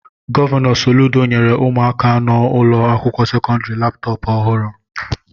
Gọvanọ Soludo nyere ụmụaka nọ n'ụlọ akwụkwọ sekọndrị Laptọpu ọhụrụ.